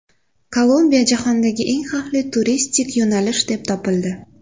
Kolumbiya jahondagi eng xavfli turistik yo‘nalish deb topildi.